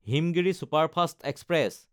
Himgiri superfast express